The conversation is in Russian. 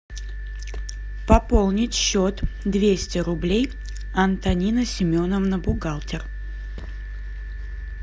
пополнить счет двести рублей антонина семеновна бухгалтер